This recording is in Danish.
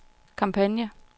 kampagne